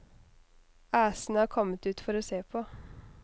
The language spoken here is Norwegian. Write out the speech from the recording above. Æsene er kommet ut for å se på.